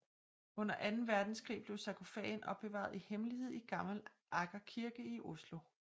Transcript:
Under Anden Verdenskrig blev sarkofagen opbevaret i hemmelighed i Gamle Aker kirke i Oslo